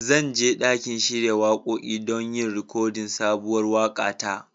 Zan je ɗakin shiya waƙoƙi don yin rikodin sabuwar waƙa ta.